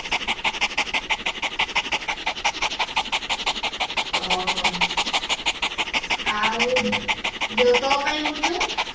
ଓ ହଉ ଆଉ ଯୋଉ ତୋ ପାଇଁ ମୁଁ ଯୋଉ